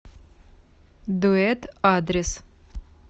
дуэт адрес